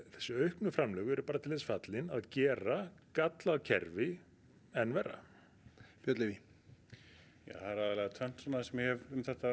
þessi auknu framlög eru bara til að gera gallað kerfi enn verra aðalega tvennt sem ég hef um þetta